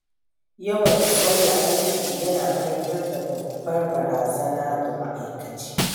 Yawan sauya aiki yana haifar da babbar barazana ga mai'aikaci.